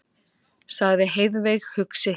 sagði Heiðveig hugsi.